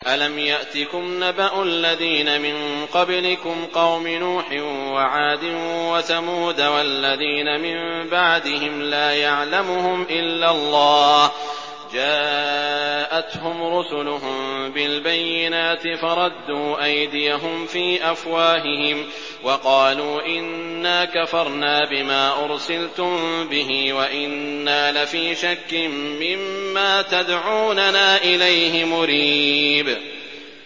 أَلَمْ يَأْتِكُمْ نَبَأُ الَّذِينَ مِن قَبْلِكُمْ قَوْمِ نُوحٍ وَعَادٍ وَثَمُودَ ۛ وَالَّذِينَ مِن بَعْدِهِمْ ۛ لَا يَعْلَمُهُمْ إِلَّا اللَّهُ ۚ جَاءَتْهُمْ رُسُلُهُم بِالْبَيِّنَاتِ فَرَدُّوا أَيْدِيَهُمْ فِي أَفْوَاهِهِمْ وَقَالُوا إِنَّا كَفَرْنَا بِمَا أُرْسِلْتُم بِهِ وَإِنَّا لَفِي شَكٍّ مِّمَّا تَدْعُونَنَا إِلَيْهِ مُرِيبٍ